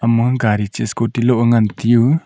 ma gari ta scooty loh e ngan taiu.